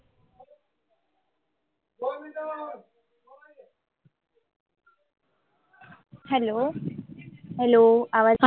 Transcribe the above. hello hello आवाज